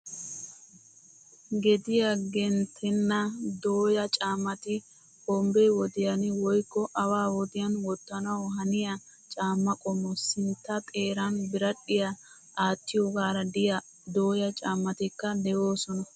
Gediyaa genttenna dooya caammati hombbe wodiyan woykko awa wodiyan wottanawu haniya caamma qommo. Sintta xeeran biradhdhiyaa aattiyogaara de'iya dooya caammatikka de"oosona.